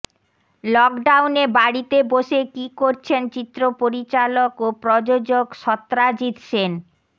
লকডাউনে বাড়িতে বসে কী করছেন চিত্র পরিচালক ও প্রযোজক সত্রাজিৎ সেন